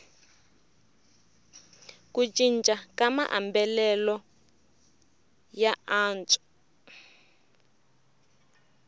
ku cinca ka maambalelo ya vantshwa